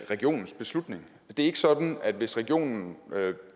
regionens beslutning det er ikke sådan at hvis regionen